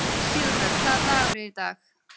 Sigurbjörg, hvaða dagur er í dag?